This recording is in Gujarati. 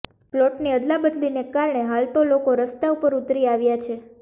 પ્લોટની અદલા બદલીને કારણે હાલતો લોકો રસ્તા ઉપર ઉતરી આવ્યા છે